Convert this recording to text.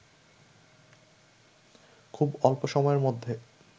খুব অল্প সময়ের মধ্যে